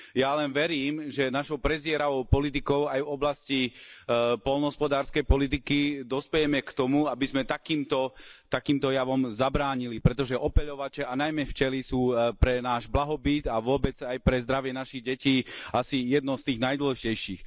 Ja len verím, že našou prezieravou politikou aj v oblasti poľnohospodárskej politiky dospejeme k tomu, aby sme takýmto, takýmto javom zabránili, pretože opeľovače, a najmä včely, sú pre náš blahobyt a vôbec aj pre zdravie našich detí asi jedno z tých najdôležitejších.